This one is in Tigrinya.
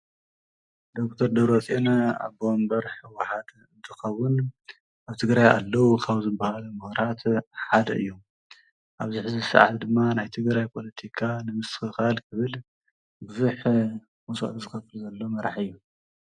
ዶክተር ደብረፅዮን ኣቦ ወንበር ህወሓት እንትከዉን ኣብ ትግራይ ኣለዉ ካብ ዝበሃሉ ምሁራት ሓደ እዩ ኣብዚ ሐዚ ሰዓት ድማ ናይ ትግራይ ፖለቲካ ንምስትክካል ብዙሕ መስዋእቲ ዝከፍል ዘሎ መራሒ እዩ።